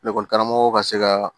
Ekɔli karamɔgɔ ka se ka